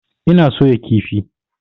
Ina soya kifi.